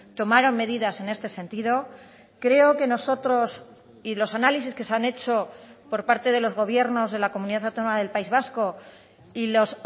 tomaron medidas en este sentido creo que nosotros y los análisis que se han hecho por parte de los gobiernos de la comunidad autónoma del país vasco y los